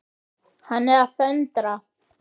Hann er að föndra.